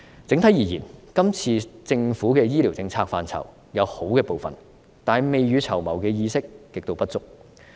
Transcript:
整體而言，這次政府的醫療政策範疇，有好的部分。但是，未雨綢繆的意識極度不足。